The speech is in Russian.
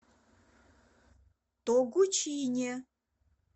тогучине